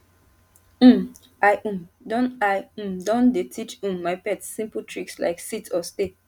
um i um don i um don dey teach um my pet simple tricks like sit or stay